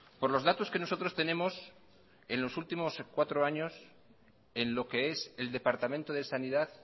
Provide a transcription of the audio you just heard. por los datos que nosotros tenemos en los últimos cuatro años en lo que es el departamento de sanidad